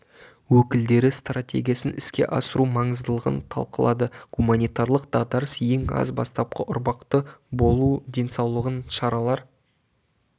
өкілдері стратегиясын іске асыру маңыздылығын талқылады гуманитарлық дағдарыс ең аз бастапқы ұрпақты болу денсаулығын шаралар